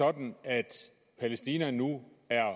herre christian juhl